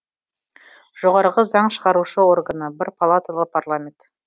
жоғарғы заң шығарушы органы бір палаталы парламент